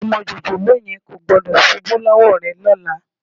Ọmọ jòjòló yẹn kò gbọ́dọ̀ ṣubú lọ́wọ́ rẹ lọ́la